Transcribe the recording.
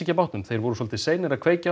af bátnum voru seinir að kveikja á